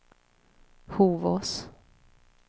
Hovås